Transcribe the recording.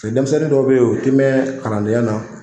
denmisɛnnin dɔw bɛ ye o ti mɛn kalandenyana.